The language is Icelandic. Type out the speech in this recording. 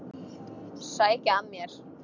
Sækja að mér.